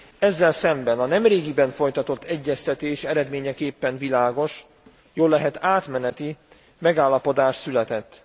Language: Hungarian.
Ezzel szemben a nemrégiben folytatott egyeztetés eredményeképpen világos jóllehet átmeneti megállapodás született.